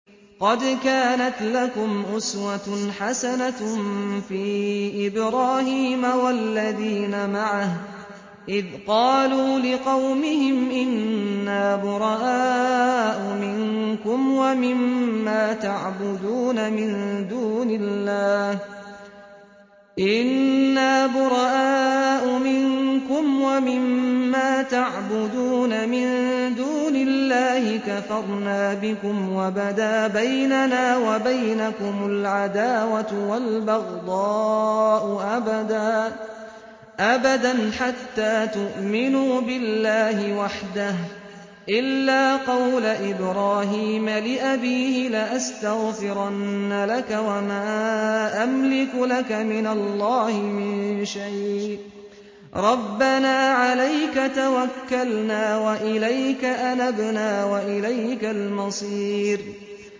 قَدْ كَانَتْ لَكُمْ أُسْوَةٌ حَسَنَةٌ فِي إِبْرَاهِيمَ وَالَّذِينَ مَعَهُ إِذْ قَالُوا لِقَوْمِهِمْ إِنَّا بُرَآءُ مِنكُمْ وَمِمَّا تَعْبُدُونَ مِن دُونِ اللَّهِ كَفَرْنَا بِكُمْ وَبَدَا بَيْنَنَا وَبَيْنَكُمُ الْعَدَاوَةُ وَالْبَغْضَاءُ أَبَدًا حَتَّىٰ تُؤْمِنُوا بِاللَّهِ وَحْدَهُ إِلَّا قَوْلَ إِبْرَاهِيمَ لِأَبِيهِ لَأَسْتَغْفِرَنَّ لَكَ وَمَا أَمْلِكُ لَكَ مِنَ اللَّهِ مِن شَيْءٍ ۖ رَّبَّنَا عَلَيْكَ تَوَكَّلْنَا وَإِلَيْكَ أَنَبْنَا وَإِلَيْكَ الْمَصِيرُ